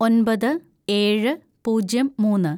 ഒന്‍പത് ഏഴ് പൂജ്യം മൂന്ന്‌